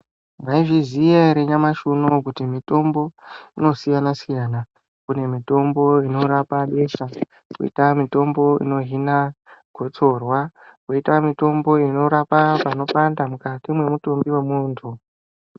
Mwaizviziya ere nyamashi unowu kuti mitombo inosiyana siyana kune mitombo inorapa besha koita mitombo inohina gotsorwa koita mitombo inorapa panopanda mukati mwemutumbi wemuntu.